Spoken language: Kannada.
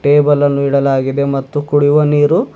ಟೇಬಲ್ ಅನ್ನು ಇಡಲಾಗಿದೆ ಮತ್ತು ಕುಡಿಯುವ ನೀರು--